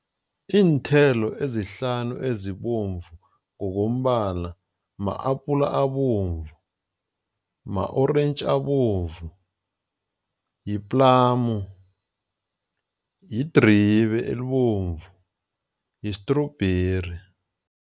Iinthelo ezihlanu ezibovu ngokombala ma-apula abovu, ma-orentji abovu, yi-plum, yidribe elibovu, yistrubheri.